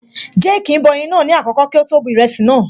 Jéèkì ń bọ ẹyin naa ní àkọ́kọ́ kí ó tó bu ìrẹsì naa